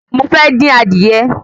Mo fẹ́ dín adìye